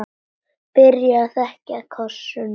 Byrjar að þekja það kossum.